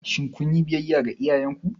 Shin kun yi biyayya ga iyayenku?